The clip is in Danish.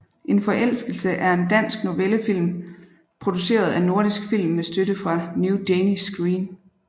En forelskelse er en dansk novellefilm produceret af Nordisk Film med støtte fra New Danish Screen